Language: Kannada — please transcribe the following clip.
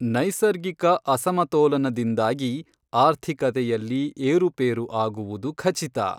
ನೈಸರ್ಗಿಕ ಅಸಮತೋಲನದಿಂದಾಗಿ ಆರ್ಥಿಕತೆಯಲ್ಲಿ ಏರುಪೇರು ಆಗುವುದು ಖಚಿತ.